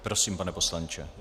Prosím, pane poslanče.